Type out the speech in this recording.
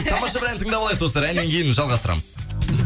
тамаша бір ән тыңдап алайық достар әннен кейін жалғастырамыз